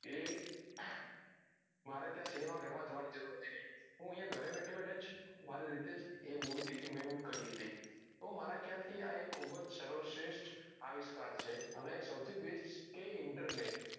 એ મારે ત્યાં cinema ગાર માં જવાની જરૂર હતી નઈ હું અહીંયા ગરે બેઠે બેઠે જ મારી રીતે જ એ movie ticket મેં બુક કરી હતી તો મારા ખયાલ થી આ ખુબજ સર્વ શ્રેષ્ઠ આવિષ્કાર છે અને સૌથી બેસ્ટ કે internet